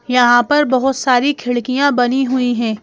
यहाँ पर बहुत सारी खिड़कियाँ बनी हुई हैं।